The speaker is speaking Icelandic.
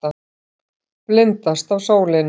Blindast af sólinni.